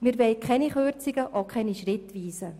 Wir wollen keine Kürzungen, auch keine schrittweisen.